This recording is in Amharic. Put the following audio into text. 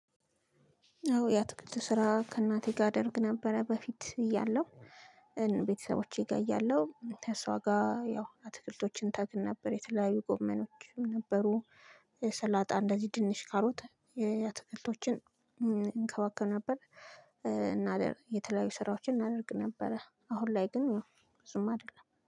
አዎ ያትክልት ስራ ከእናቴ ጋር አደርግ ነበረ በፊት እያለሁ። ቤተሰቦቼ ጋር እያለሁ ከእሷ ጋር ያው አትክልቶችን እተክል ነበር የተለያዩ ጎመኖችም ነበሩ። ሰላጣ እንደዚህ ድንች ካሉት የአትክልቶችን እንከባከብ ነበር። እና የተለያዩ ስራዎችን እናደርግ ነበረ። አሁን ላይ ግን ብዙም አይደለም